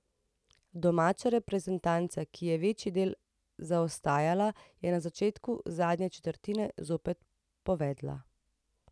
Domača reprezentanca, ki je večji del zaostajala, je na začetku zadnje četrtine zopet povedla.